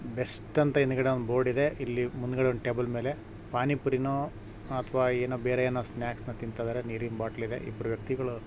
best ಅಂಥ ಹಿಂದ್ಗಡೆ board ಇದೆ ಇಲ್ಲಿ ಮುದ್ಗಡೆ ಒಂದು ಟೇಬಲ್ ಮೇಲೆ ಪಾನಿಪೂರಿನು ಅಥವಾ ಏನು ಬೇರೆ ಏನು ಸ್ನ್ಯಾಕ್ ತಿನ್ನತಾ ಇದ್ದಾರೆ ನೀರಿನ ಬಾಟೆಲ್ ಇದೆ ಇಬ್ಬರೂ ವೆಕ್ತಿಗಳೂ